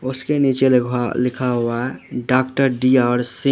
उसके नीचे लिखा हुआ है डॉक्टर डी आर सिंह ।